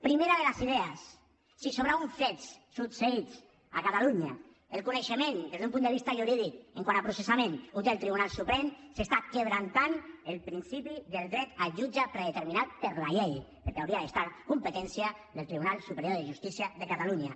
primera de les idees si sobre uns fets succeïts a catalunya el coneixement des d’un punt de vista jurídic quant a processament el té el tribunal suprem s’està vulnerant el principi del dret al jutge predeterminat per la llei perquè hauria de ser competència del tribunal superior de justícia de catalunya